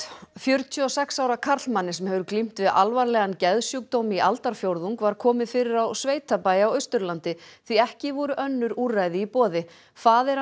fjörutíu og sex ára karlmanni sem hefur glímt við alvarlegan geðsjúkdóm í aldarfjórðung var komið fyrir á sveitabæ á Austurlandi því ekki voru önnur úrræði í boði faðir